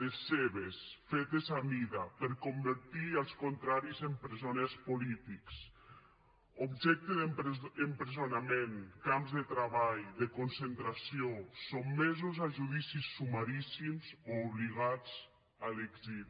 les seves fetes a mida per convertir els contraris en presoners polítics objecte d’empresonament camps de treball de concentració sotmesos a judicis sumaríssims o obligats a l’exili